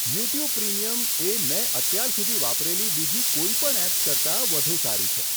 YouTube Premium એ મેં અત્યાર સુધી વાપરેલી બીજી કોઇપણ એપ્સ કરતાં વધુ સારી છે.